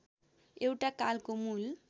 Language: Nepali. एउटा कालको मूल